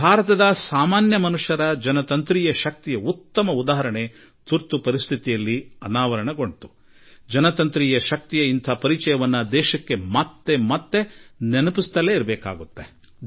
ಭಾರತದ ಶ್ರೀಸಾಮಾನ್ಯನ ಪ್ರಜಾಪ್ರಭುತ್ವದ ಶಕ್ತಿಯ ಉತ್ತಮ ಉದಾಹರಣೆ ತುರ್ತು ಪರಿಸ್ಥಿತಿ ಕಾಲದಲ್ಲಿ ಸಾದರಪಡಿಸಲಾಗಿದೆ ಮತ್ತು ಈ ಪ್ರಜಾಪ್ರಭುತ್ವದ ಶಕ್ತಿಯ ಆ ಪರಿಚಯವನ್ನು ಪದೇಪದೆ ದೇಶಕ್ಕೆ ನೆನಪು ಮಾಡಿಕೊಡುತ್ತಿರಲೇಬೇಕು